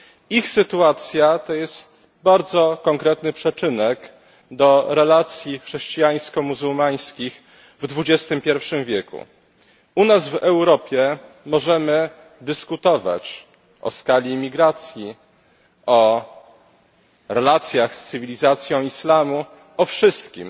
Ich sytuacja to jest bardzo konkretny przyczynek do relacji chrześcijańsko muzułmańskich w XXI w. U nas, w Europie, możemy dyskutować o skali imigracji, o relacjach z cywilizacją islamu, o wszystkim.